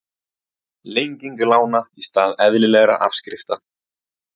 Lenging lána í stað eðlilegra afskrifta